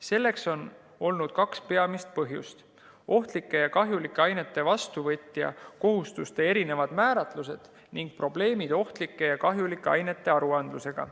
Selleks on olnud kaks peamist põhjust: ohtlike ja kahjulike ainete vastuvõtja kohustuste erinevad määratlused ning probleemid ohtlike ja kahjulike ainete aruandlusega.